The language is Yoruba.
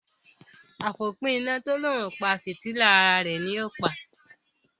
àfópína to l'òun o pá fìtílà àrà rẹ ní o pá.